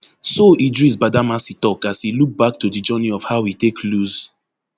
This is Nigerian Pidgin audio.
so idris badamasi tok as e look back to di journey of how e take lose